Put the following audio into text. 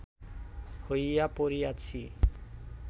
হইয়া পড়িয়াছি